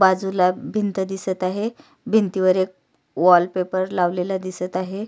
बाजूला भिंत दिसत आहे भिंतीवर एक वॉलपेपर लावलेला दिसत आहे.